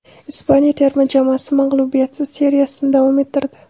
Ispaniya terma jamoasi mag‘lubiyatsiz seriyasini davom ettirdi.